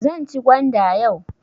Zan ci gwanda yau.